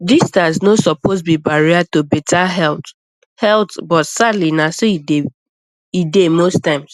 distance no suppose be barrier to better health health but sadly na so e dey most times